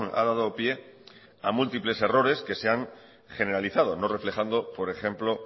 ha dado pie a múltiples errores que se han generalizado no reflejando por ejemplo